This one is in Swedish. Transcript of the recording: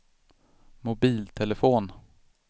mobiltelefon